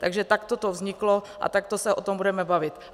Takže takto to vzniklo a takto se o tom budeme bavit.